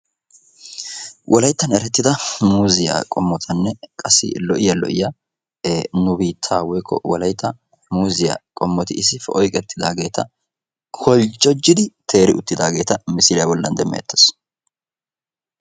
wolayttan erettida muuzziya qommotanne qassi lo'iya lo'iya nu biittaa woyikko wolayitta muuzziya qommoti issippe oyiqettidaageeta holjjojjidi teeri uttidaageeta misiliya bollan demmeettes.